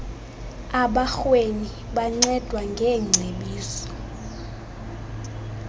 abarhweni bancedwa ngeengcebiso